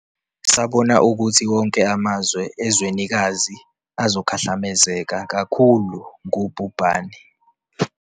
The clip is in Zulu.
Sabona ukuthi wonke amazwe ezwenikazi azokhahlamezeka kakhulu ngubhubhane.